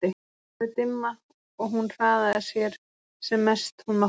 Það var farið dimma og hún hraðaði sér sem mest hún mátti.